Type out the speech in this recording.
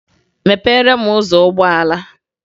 Mepere m ụzọ ụgbọala!